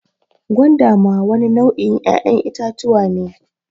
Gwanda ma wani nau' in 'ya'yan itatuwa ne.